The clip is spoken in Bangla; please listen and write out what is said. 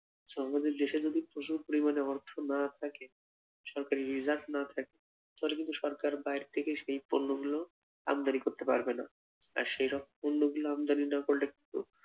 দেশে যদি প্রচুর পরিমানে অর্থ না থাকে, সরকারি reserve না থাকে, তাহলে কিন্তু সরকার বাইর থাকে সেই পণ্য গুলো আমদানি করতে পারবেনা আর সেই সব পণ্য গুলো আমদানি না করলে কি